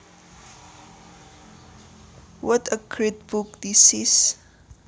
What a great book this is